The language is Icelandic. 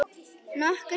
Nokkur þúsund?